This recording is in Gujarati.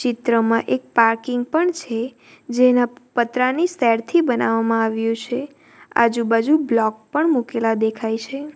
ચિત્રમાં એક પાર્કિંગ પણ છે જેના પતરાની સ્ટાઇલથી બનાવવામાં આવ્યું છે આજુબાજુ બ્લોક પણ મુકેલા દેખાય છે.